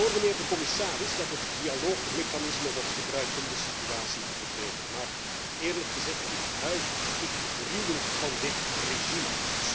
Ik hoor, mijnheer de commissaris, dat het dialoogmechanisme wordt gebruikt om de situatie te verbeteren, maar eerlijk gezegd ik huiver, ik gruwel van dit regime.